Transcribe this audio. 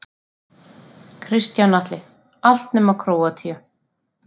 Kristján Atli: Allt nema Króatía.